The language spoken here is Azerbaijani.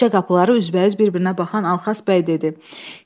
Küçə qapıları üzbəüz bir-birinə baxan Alxaz bəy dedi: